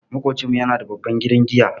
Maƙocinmu yana da babban gidan giya.